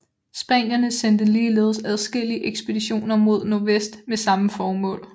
Spanierne sendte ligeledes adskillige ekspeditioner mod nordvest med samme formål